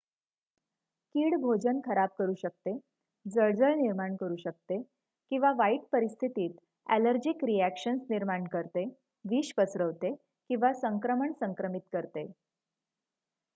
कीड भोजन खराब करू शकते जळजळ निर्माण करू शकते किंवा वाईट परिस्थितीत ॲलर्जीक रिॲक्शन्स निर्माण करते विष पसरवते किंवा संक्रमण संक्रमित करते